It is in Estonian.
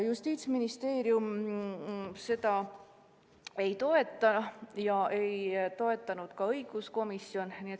Justiitsministeerium seda ei toeta ja ei toetanud ka õiguskomisjon.